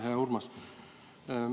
Hea Urmas!